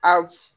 A f